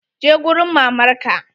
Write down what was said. Je gurin mamar ka!